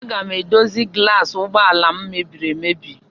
Aga m edozi gulas ụgbọala m mebiri emebi.